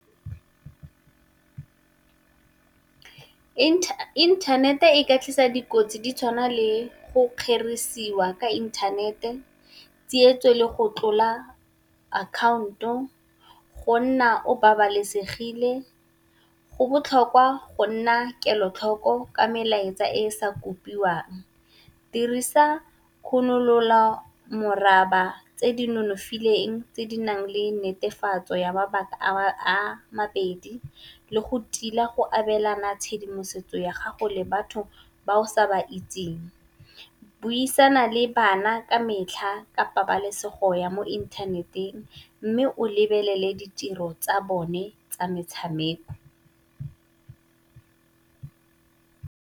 Internet-e e ka tlisa dikotsi di tshwana le go kgerisiwa ka inthanete, tsietso le go tlola akhaonto, go nna o babalesegile. Go botlhokwa go nna kelotlhoko ka melaetsa e e sa kopiwang, dirisa khunololamoraba tse di nonofileng tse di nang le netefatso ya mabaka a mabedi, le go tila go abelana tshedimosetso ya gago le batho ba o sa ba itseng, buisana le bana ka metlha ka pabalesego ya mo inthaneteng mme o lebelele ditiro tsa bone tsa metshameko.